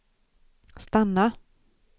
stanna